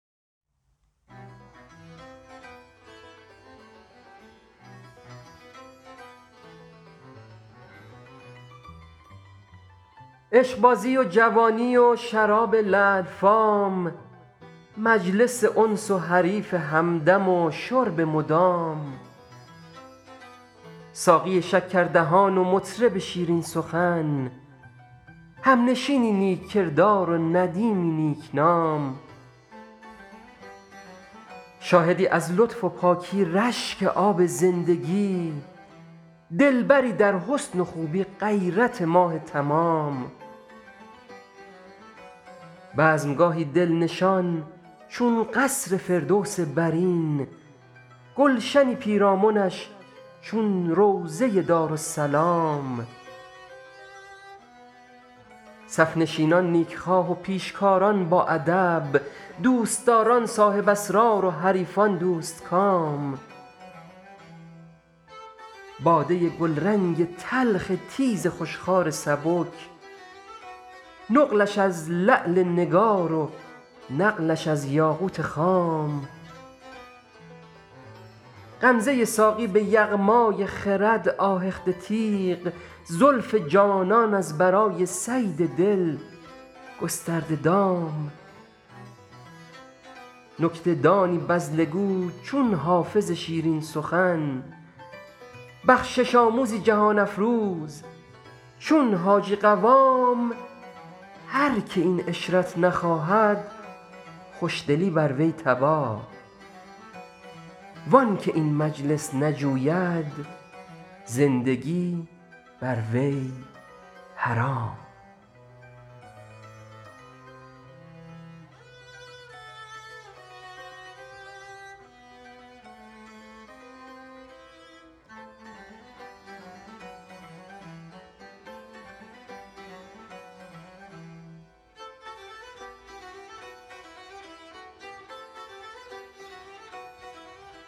عشقبازی و جوانی و شراب لعل فام مجلس انس و حریف همدم و شرب مدام ساقی شکردهان و مطرب شیرین سخن همنشینی نیک کردار و ندیمی نیک نام شاهدی از لطف و پاکی رشک آب زندگی دلبری در حسن و خوبی غیرت ماه تمام بزم گاهی دل نشان چون قصر فردوس برین گلشنی پیرامنش چون روضه دارالسلام صف نشینان نیک خواه و پیشکاران باادب دوست داران صاحب اسرار و حریفان دوست کام باده گلرنگ تلخ تیز خوش خوار سبک نقلش از لعل نگار و نقلش از یاقوت خام غمزه ساقی به یغمای خرد آهخته تیغ زلف جانان از برای صید دل گسترده دام نکته دانی بذله گو چون حافظ شیرین سخن بخشش آموزی جهان افروز چون حاجی قوام هر که این عشرت نخواهد خوش دلی بر وی تباه وان که این مجلس نجوید زندگی بر وی حرام